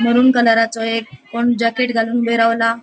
मरून कलरा चो एक कोण जॅकेट घालून ऊबे रावला.